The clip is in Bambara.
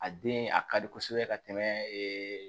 A den a ka di kosɛbɛ ka tɛmɛ ee